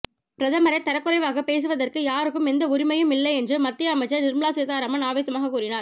பிரதமரை தரக்குறைவாக பேசுவதற்கு யாருக்கும் எந்த உரிமையும் இல்லை என்று மத்திய அமைச்சர் நிர்மலா சீதாராமன் ஆவேசமாக கூறினார்